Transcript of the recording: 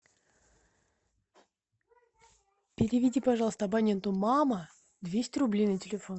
переведи пожалуйста абоненту мама двести рублей на телефон